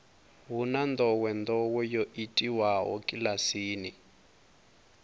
hu na ndowendowe yo itiwaho kilasini